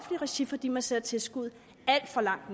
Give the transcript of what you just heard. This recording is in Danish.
regi fordi man sætter tilskuddet alt for langt